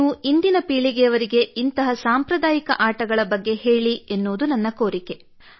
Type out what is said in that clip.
ನೀವು ಇಂದಿನ ಪೀಳಿಗೆಯವರಿಗೆ ಇಂತಹ ಸಾಂಪ್ರದಾಯಿಕ ಆಟಗಳ ಬಗ್ಗೆ ಹೇಳಿ ಎನ್ನುವುದು ನನ್ನ ಕೋರಿಕೆ